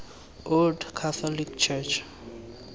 old catholic church